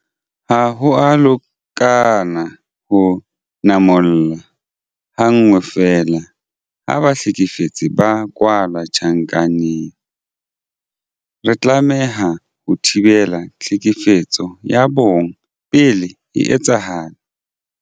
Ha ho a lekana ho namola ha nngwe feela ha bahlekefetsi ba kwalla tjhankaneng. Re tlameha ho thibela tlhekefetso ya bong pele e etsahala.